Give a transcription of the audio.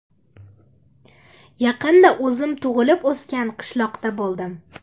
Yaqinda o‘zim tug‘ilib o‘sgan qishloqda bo‘ldim.